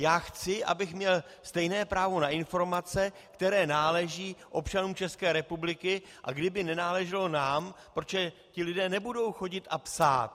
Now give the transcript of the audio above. Já chci, abych měl stejné právo na informace, které náleží občanům České republiky, a kdyby nenáleželo nám - protože ti lidé nebudou chodit a psát.